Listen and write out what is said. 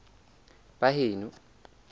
baheno